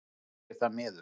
Mér þykir það miður